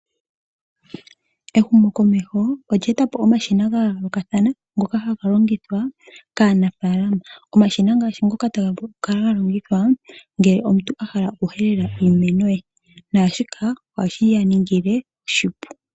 Ehumokomeho olye eta po wo omashina ga yoolokathana ngoka ha galongithwa kaanafaalama. Omashina ngashi ngoka ta ga vulu okukala ga longithwa ngele omuntu a hala okuhelela iimeno ye, na shika oha shi ya ningile oshipu.